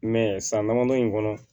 san damadɔ in kɔnɔ